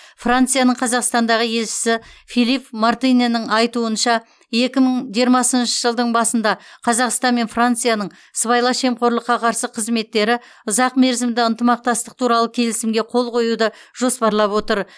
францияның қазақстандағы елшісі филипп мартинэнің айтуынша екі мың жиырмасыншы жылдың басында қазақстан мен францияның сыбайлас жемқорлыққа қарсы қызметтері ұзақмерзімді ынтымақтастық туралы келісімге қол қоюды жоспарлап отыр